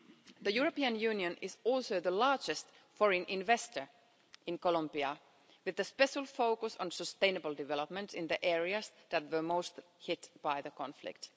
The European Union is also the largest foreign investor in Colombia, with a special focus on sustainable development in the areas that were most hit by the conflict.